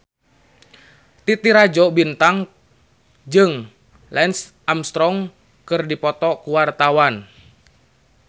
Titi Rajo Bintang jeung Lance Armstrong keur dipoto ku wartawan